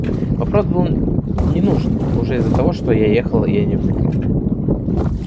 вопрос был ненужный уже из-за того что я ехал я не в метро